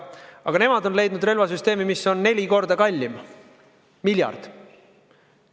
Aga nemad on leidnud relvasüsteemi, mis on neli korda kallim: miljard.